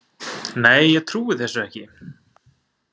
Nei, ég trúi þessu ekki.